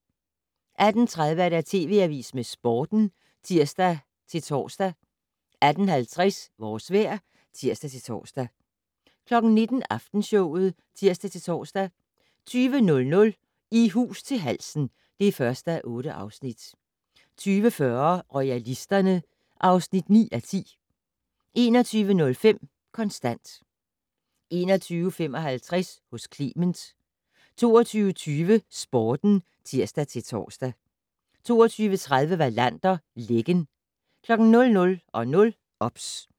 18:30: TV Avisen med Sporten (tir-tor) 18:50: Vores vejr (tir-tor) 19:00: Aftenshowet (tir-tor) 20:00: I hus til halsen (1:8) 20:40: Royalisterne (9:10) 21:05: Kontant 21:55: Hos Clement 22:20: Sporten (tir-tor) 22:30: Wallander: Lækken 00:00: OBS